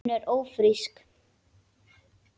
Hún er ÓFRÍSK!